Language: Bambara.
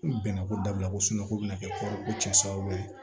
Bɛnɛ ko dabila ko sunɔgɔ bɛ na kɛ ko cɛ sababu ye